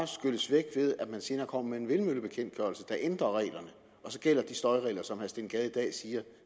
skylles væk ved at man senere kommer med en vindmøllebekendtgørelse der ændrer reglerne og så gælder de støjregler som herre steen gade i dag siger